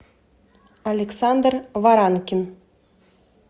александр варанкин